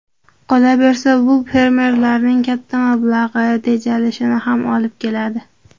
Qolaversa, bu fermerlarning katta mablag‘i tejalishiga ham olib keladi.